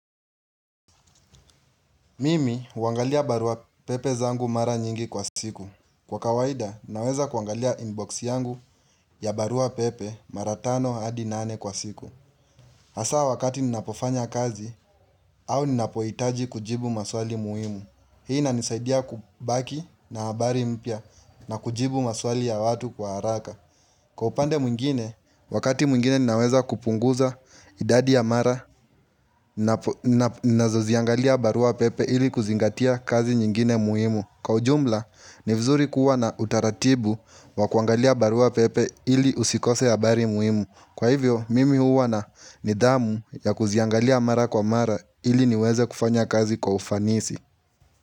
Mimi huangalia barua pepe zangu mara nyingi kwa siku. Kwa kawaida, naweza kuangalia inbox yangu ya barua pepe maratano hadi nane kwa siku. Hasaa wakati ninapofanya kazi au ninapohitaji kujibu maswali muhimu. Hii inanisaidia kubaki na habari mpya na kujibu maswali ya watu kwa haraka. Kwa upande mwingine, wakati mwingine ninaweza kupunguza idadi ya mara nazoziangalia barua pepe ili kuzingatia kazi nyingine muhimu. Kwa ujumla, ni vizuri kuwa na utaratibu wa kuangalia barua pepe ili usikose habari muhimu. Kwa hivyo, mimi huwa na nidhamu ya kuziangalia mara kwa mara ili niweze kufanya kazi kwa ufanisi.